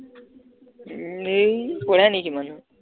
উম এই কৰে নেকি মানুহ